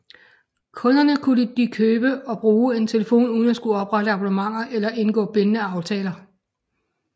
Kunderne kunne da købe og bruge en telefon uden at skulle oprette abonnementer eller indgå bindende aftaler